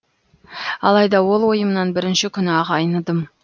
алайда ол ойымнан бірінші күні ақ айныдым